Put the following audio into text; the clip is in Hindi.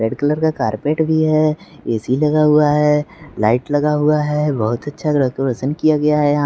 रेड कलर का कार्पेट भी है ए_सी लगा हुआ है लाइट लगा हुआ है बहुत अच्छा डेकोरेशन किया गया है।